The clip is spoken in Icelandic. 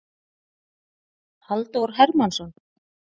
Halldór Hermannsson.